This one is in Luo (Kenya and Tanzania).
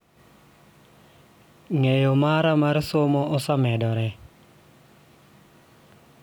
Ng�eyo mara mar somo osemedore